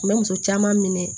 U bɛ muso caman minɛ